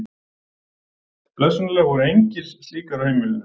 Blessunarlega voru engar slíkar á heimilinu.